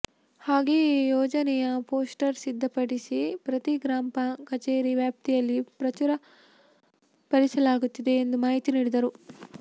ಹಾಗೆಯೇ ಯೋಜನೆಯ ಫೋಸ್ಟರ್ ಸಿದ್ಧಪಡಿಸಿ ಪ್ರತಿ ಗ್ರಾಪಂ ಕಚೇರಿ ವ್ಯಾಪ್ತಿಯಲ್ಲಿ ಪ್ರಚುರ ಪಡಿಸಲಾಗುತ್ತಿದೆ ಎಂದು ಮಾಹಿತಿ ನೀಡಿದರು